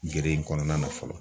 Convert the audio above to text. Gere in kɔnɔna na fɔlɔ.